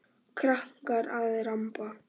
Krakkar að ramba.